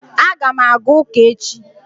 A ga m aga ụka echi